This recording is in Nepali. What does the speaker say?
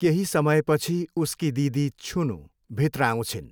केही समयपछि उसकी दिदी, छुनू, भित्र आउँछिन्।